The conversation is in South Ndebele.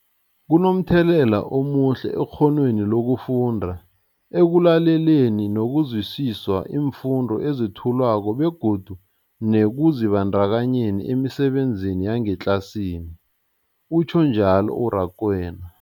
Kunomthelela omuhle ekghonweni lokufunda, ekulaleleni nokuzwisiswa iimfundo ezethulwako begodu nekuzibandakanyeni emisebenzini yangetlasini, utjhwe njalo u-Rakwena.